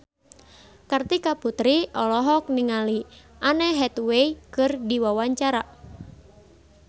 Kartika Putri olohok ningali Anne Hathaway keur diwawancara